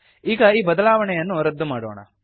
ಈಗ ಈ ಬದಲಾವಣೆಯನ್ನು ರದ್ದು ಮಾಡೋಣ